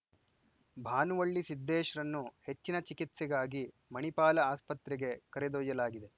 ಭಾನುವಳ್ಳಿ ಸಿದ್ದೇಶ್‌ರನ್ನು ಹೆಚ್ಚಿನ ಚಿಕಿತ್ಸೆಗಾಗಿ ಮಣಿಪಾಲ ಆಸ್ಪತ್ರೆಗೆ ಕರೆದೊಯ್ಯಲಾಗಿದೆ